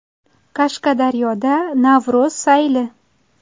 Qashqadaryoda Navro‘z sayli.